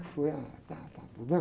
Como é que foi? Ah, tátátá...